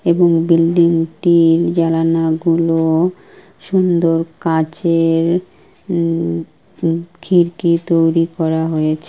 এবং বিল্ডিং টির জালানা গুলো সুন্দর কাঁচে-এর উম খিরকি তৈরী করা হয়েছে।